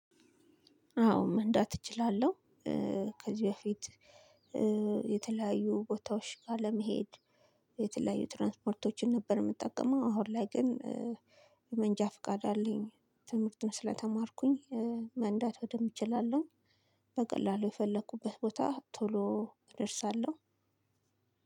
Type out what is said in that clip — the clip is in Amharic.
አዎ መንዳት እችላለሁ። ከዚህ በፊት የተለያዩ ቦታዎች ጋር ለመሄድ የተለያዩ ትራንስፖርቶችን ነበር የምጠቀመው። አሁን ላይ ግን የመንጃ ፍቃድ አለኝ። ትምህርቱን ስለተማርኩኝ መንዳት በደንብ እችላለሁ። በቀላሉ የፈለኩበት ቦታ ቶሎ እደርሳለሁ።